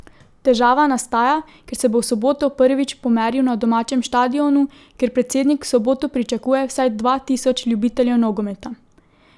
Težava nastaja, ker se bo v soboto prvič pomeril na domačem štadionu, kjer predsednik v soboto pričakuje vsaj dva tisoč ljubiteljev nogometa.